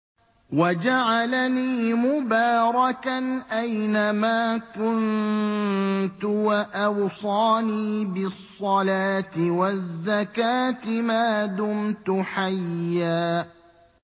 وَجَعَلَنِي مُبَارَكًا أَيْنَ مَا كُنتُ وَأَوْصَانِي بِالصَّلَاةِ وَالزَّكَاةِ مَا دُمْتُ حَيًّا